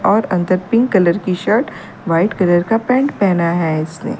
और अंदर pink colour की शर्ट वाइट कलर का पैंट पहना है इसने।